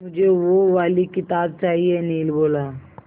मुझे वो वाली किताब चाहिए अनिल बोला